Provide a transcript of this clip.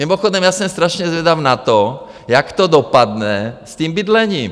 Mimochodem já jsem strašně zvědav na to, jak to dopadne s tím bydlením.